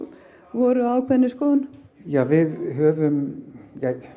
voru á ákveðinni skoðun við höfum